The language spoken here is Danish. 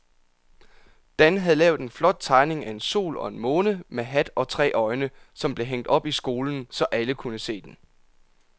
Dan havde lavet en flot tegning af en sol og en måne med hat og tre øjne, som blev hængt op i skolen, så alle kunne se den.